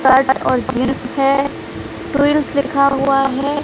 Shirt और jeans है twills लिखा हुआ है।